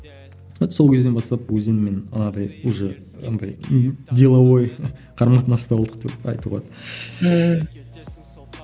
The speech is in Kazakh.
вот сол кезден бастап өзенмен анадай уже андай ы деловой қарым қатынаста болдық деп айтуға ммм